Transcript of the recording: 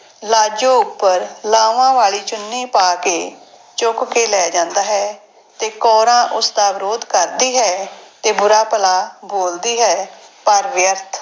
ਲਾਜੋ ਉੱਪਰ ਲਾਵਾਂ ਵਾਲੀ ਚੁੰਨੀ ਪਾ ਕੇ ਚੁੱਕ ਕੇ ਲੈ ਜਾਂਦਾ ਹੈ ਤੇ ਕੌਰਾਂ ਉਸਦਾ ਵਿਰੋਧ ਕਰਦੀ ਹੈ ਤੇ ਬੁਰਾ ਭਲਾ ਬੋਲਦੀ ਹੈ, ਪਰ ਵਿਅਰਥ।